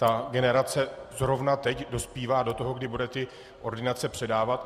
Ta generace zrovna teď dospívá do toho, kdy bude ty ordinace předávat.